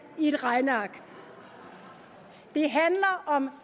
i et regneark det handler om